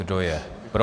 Kdo je pro?